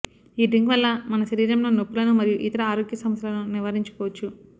ఈ డ్రింక్ వల్ల మన శరీరంలో నొప్పులను మరియు ఇతర ఆరోగ్య సమస్యలను నివారించుకోవచ్చు